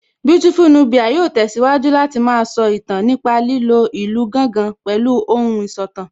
Beautiful Nubia yóò tẹ̀síwájú Láti má a sọ ìtàn nípa lílo ìlù gángan pẹ̀lú ohùn ìsọ̀tàn